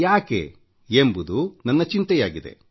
ಯಾಕೆ ಎಂಬುದು ನನ್ನ ಚಿಂತೆಯಾಗಿದೆ